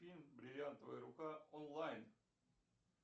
фильм бриллиантовая рука онлайн